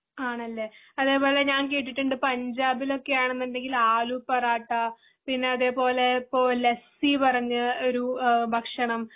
ആണല്ലേ അതെ പോലെ ഞാൻ കേട്ടിട്ടുണ്ട് പഞ്ചാബിലൊക്കെ ആണന്നുണ്ടെങ്കില് ആലുപറോട്ട, പിന്നെ അതുപോലെ ലെപ്സി പറഞ്ഞ ഒരു ഏഹ് ഭക്ഷണം.